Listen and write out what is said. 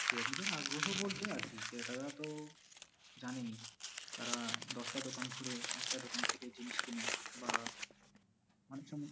ক্রেতাদের আগ্রহ বলতে আর কি, ক্রেতারা তো, জানেনই। তারা দশটা দোকান ঘুরে একটা দোকান থেকে জিনিস কিনে বা অনেক সময়